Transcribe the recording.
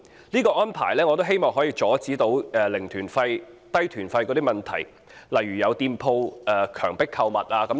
這安排可以阻止"零團費"、"低團費"的問題，如果有店鋪強迫購物，可以舉報。